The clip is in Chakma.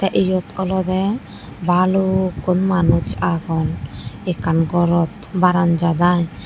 te yot olody balukun manus agon ekkan gorot baranzat aai.